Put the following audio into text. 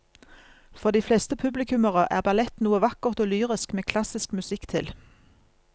For de fleste publikummere er ballett noe vakkert og lyrisk med klassisk musikk til.